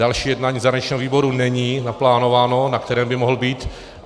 Další jednání zahraničního výboru není naplánováno, na kterém by mohl být.